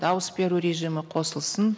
дауыс беру режимі қосылсын